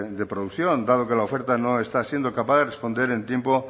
de producción dado que la oferta no está siendo capaz de responder en tiempo